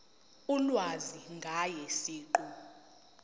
ulwazi ngaye siqu